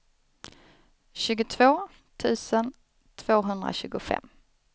tjugotvå tusen tvåhundratjugofem